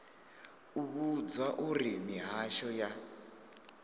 u vhudzwa uri mihasho ya